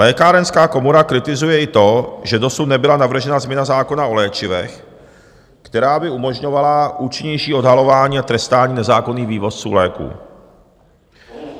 Lékárenská komora kritizuje i to, že dosud nebyla navržena změna zákona o léčivech, která by umožňovala účinnější odhalování a trestání nezákonných vývozců léků.